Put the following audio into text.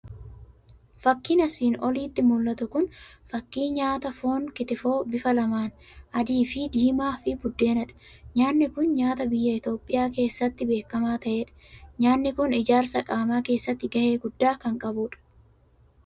Fakiin asiin olitti mul'atu kun fakii nyaata foon kitifoo bifa laman adii fi diimaa fi buddeenadha. nyaanni kun nyaata biyyaa Itoophiyaa keessattii beekkamaa ta'edha. nyaanyi kun ijaarsa qaama keessatti gahee guddaa kan qabudha.